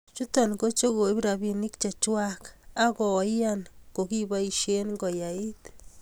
chuto ko che koib rabinik chechwak ak koan kokibaishe koait